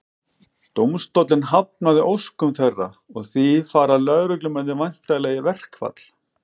Dómstóllinn hafnaði óskum þeirra og því fara lögreglumennirnir væntanlega í verkfall.